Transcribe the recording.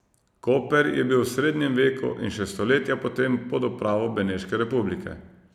Koper je bil v srednjem veku in še stoletja potem pod upravo Beneške republike.